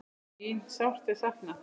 Þín sárt ég sakna.